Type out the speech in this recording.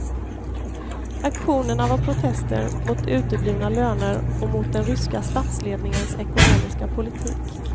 Aktionerna var protester mot uteblivna löner och mot den ryska statsledningens ekonomiska politik.